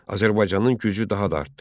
Azərbaycanın gücü daha da artdı.